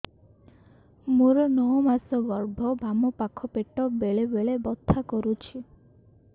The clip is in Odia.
ମୋର ନଅ ମାସ ଗର୍ଭ ବାମ ପାଖ ପେଟ ବେଳେ ବେଳେ ବଥା କରୁଛି